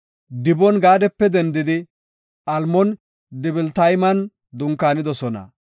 Dibon-Gaadape dendidi Almoon-Dibilatayman dunkaanidosona.